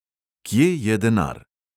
Kje je denar?